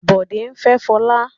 Bòdé fẹ́ Fọlá.